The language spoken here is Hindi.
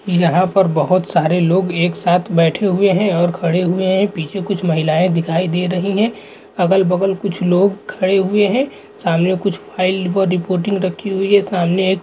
यहाँ पर बहुत सरे लोग एक साथ बैठे हुए है। और खड़े हुए है। पीछे कुछ महिलये दिखाई दे रही है। अगल बगल कुछ लोग खड़े हुए है। सामने कुछ फाइल व रिपोर्टिंग रखी हुए है। सामने एक--